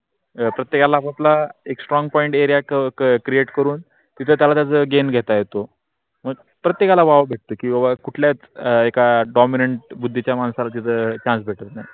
प्रत्येकाला आप आपला एक strong point area cover तीत त्याच गेम घेता येतो प्रत्येकाला वाव भेटतो किवा कुटल्हीयाही एका dominent बुद्धीच्या माणसाला तीत chance भेटत नाही.